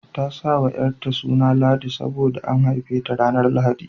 Ta sa wa ƴarta suna Ladi sabo da an haife ta ranar Lahadi.